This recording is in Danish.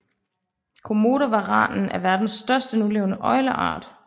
Komodovaranen er verdens største nulevende øgleart